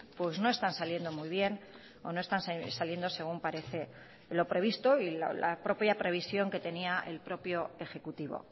pues no están saliendo muy bien o no están saliendo según parece lo previsto y la propia previsión que tenía el propio ejecutivo